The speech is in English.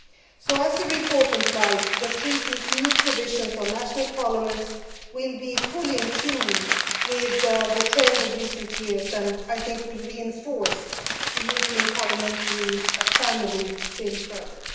So, as the report implies, the Treaty's new provisions on national parliaments will be fully in tune with the trend of recent years, and I think will reinforce the European parliamentary family still further.